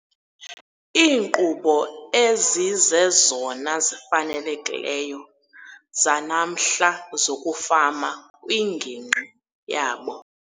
Iinkqubo ezizezona zifanelekileyo, zanamhla zokufama kwingingqi yabo.